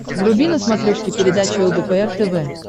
вруби на смотрешке передачу лдпр тв